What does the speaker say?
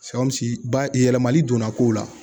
bayɛlɛmali donna ko la